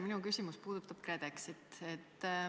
Minu küsimus puudutab KredExit.